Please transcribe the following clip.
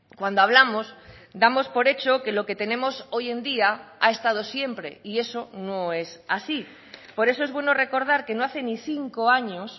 cuando hablamos damos por hecho que lo que tenemos hoy en día ha estado siempre y eso no es así por eso es bueno recordar que no hace ni cinco años